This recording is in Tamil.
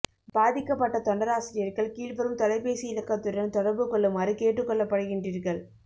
பாதிக்கப்பட்ட தொண்டராசிரியர்கள் கீழ்வரும் தொலைபேசி இலக்கத்துடன் தொடர்பு கொள்ளுமாறு கேட்டுக் கொள்ளப்படுகின்றீர்கள்